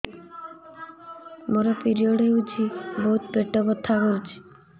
ମୋର ପିରିଅଡ଼ ହୋଇଛି ବହୁତ ପେଟ ବଥା କରୁଛି